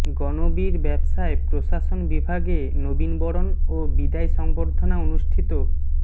গণবির ব্যবসায় প্রশাসন বিভাগে নবীনবরণ ও বিদায় সংবর্ধনা অনুষ্ঠিত